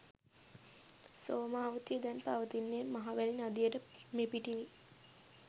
සෝමවතිය දැන් පවතින්නේ මහවැලි නදියට මෙපිටිනි.